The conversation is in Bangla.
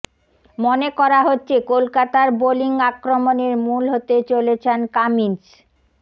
মনে করা হচ্ছে কলকাতার বোলিং আক্রমণের মূল হতে চলেছেন কামিন্স